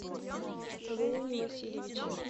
леоне васильевиче